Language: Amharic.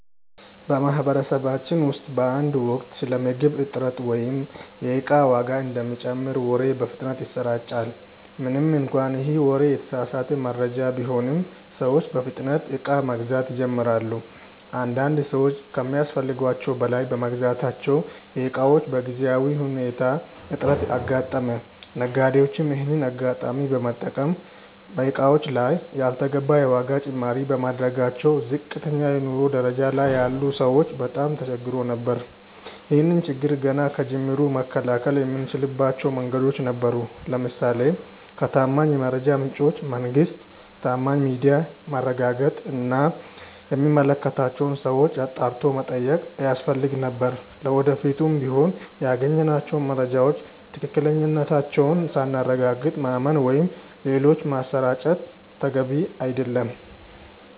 በማህበረሰባችን ውስጥ በአንድ ወቅት ስለ ምግብ እጥረት ወይም የእቃ ዋጋ እንደሚጨምር ወሬ በፍጥነት ይሰራጫል። ምንም እንኳን ይህ ወሬ የተሳሳተ መረጃ ቢሆንም፤ ሰዎች በፍጥነት እቃ መግዛት ይጀምራሉ። አንዳንድ ሰዎች ከሚያስፈልጋቸው በላይ በመግዛታቸው የእቃዎች በጊዜያዊ ሁኔታ እጥረት አጋጠመ። ነጋዴዎችም ይሄንን አጋጣሚ በመጠቀም በእቃዎቹ ላይ ያልተገባ የዋጋ ጭማሪ በማድረጋቸው ዝቅተኛ የኑሮ ደረጃ ላይ ያሉ ሰዎች በጣም ተቸግረው ነበር። ይህን ችግር ገና ከጅምሩ መከላከል የምንችልባቸው መንገዶች ነበሩ። ለምሳሌ ከታማኝ የመረጃ ምንጮች (መንግስት፣ ታማኝ ሚዲያ)ማረጋገጥ እና የሚመለከታቸውን ሰዎች አጣርቶ መጠየቅ ያስፈልግ ነበር። ለወደፊቱም ቢሆን ያገኘናቸውን መረጃዎች ትክክለኛነታቸውን ሳናረጋግጥ ማመን ወይም ሌሎች ማሰራጨት ተገቢ አይደለም።